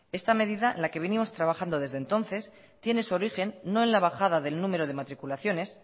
esta medida la que venimos trabajando desde entonces tiene su origen no en la bajada del número de matriculaciones